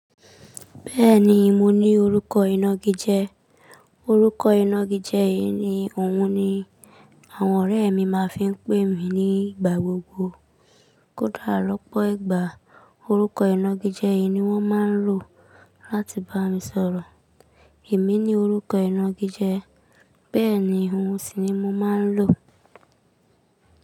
Bẹ́ẹ̀ni, mo ní orúkọ ìnagijẹ. Orúkọ ìnagijẹ yìí ni òun ni àwọn ọ̀rẹ́ mi máa ń fi ń pè mí nígbà gbogbo. Kódà lọ́pọ̀ ìgbà, orúkọ ìnagijẹ yìí ni wọ́n máa ń lò láti bá mi sọ̀rọ̀. Èmi ni orúkọ ìnagijẹ. Bẹ́ẹ̀ni, ohùn sì ni mo máa ń lò.